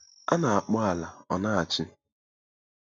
A na-akpọ ala ọ na-achị.